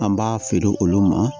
An b'a feere olu ma